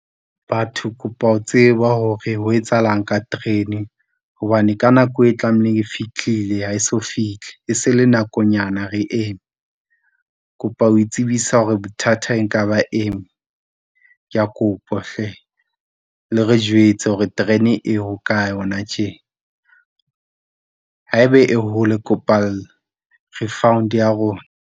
Batho kopa ho tseba hore ho etsahalang ka terene, hobane ka nako e tlameile e fitlhile ha eso fihle e se le nakonyana re eme kopa ho tsebisa hore bothata e nka ba eng. Kea kopa hle, le re jwetse hore terene e hokae hona tje haebe e hole kopa refund ya rona.